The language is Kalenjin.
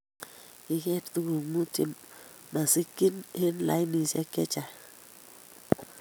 Kiger tuguk Mut chemasikchi eng lainishek chechang